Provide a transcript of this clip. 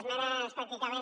esmenes pràcticament